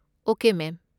Okay, ꯃꯦꯝ꯫